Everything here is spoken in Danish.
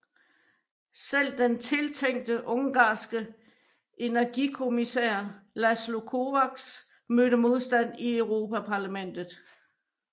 Selv den tiltænkte ungarske energikommissær László Kovács mødte modstand i Europaparlamentet